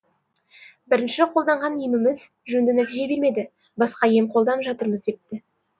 бірінші қолданған еміміз жөнді нәтиже бермеді басқа ем қолданып жатырмыз депті